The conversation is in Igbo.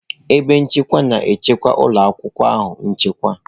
Ebe nchekwa na-echekwa ụlọ akwụkwọ ahụ nchekwa.